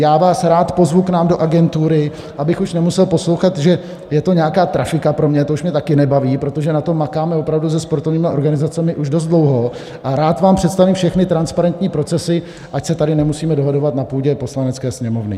Já vás rád pozvu k nám do agentury, abych už nemusel poslouchat, že je to nějaká trafika pro mě, to už mě taky nebaví, protože na tom makáme opravdu se sportovními organizacemi už dost dlouho, a rád vám představím všechny transparentní procesy, ať se tady nemusíme dohadovat na půdě Poslanecké sněmovny.